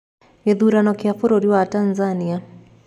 Gĩthurano kĩa bũrũri wa Tanzania.